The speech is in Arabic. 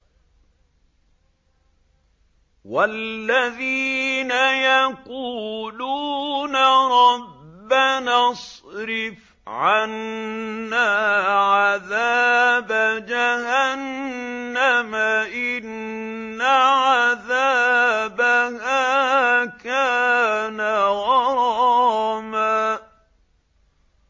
وَالَّذِينَ يَقُولُونَ رَبَّنَا اصْرِفْ عَنَّا عَذَابَ جَهَنَّمَ ۖ إِنَّ عَذَابَهَا كَانَ غَرَامًا